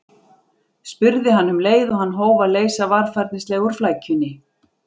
spurði hann um leið og hann hóf að leysa varfærnislega úr flækjunni.